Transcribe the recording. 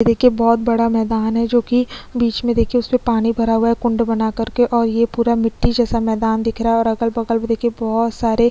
यहाँ देखिये बहुत बड़ा मैदान है जो कि बीच में पानी भरा हुआ है कुंड बना कर के और ये पूरा मिटटी जैसा मैदान दिख रहा है और देखिये अगल-बगल में देखिये बहोत सारे--